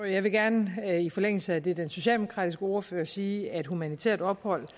jeg vil gerne i forlængelse af det den socialdemokratiske ordfører sagde sige at humanitært ophold